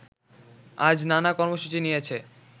আজ নানা কর্মসূচি নিয়েছে